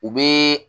U bɛ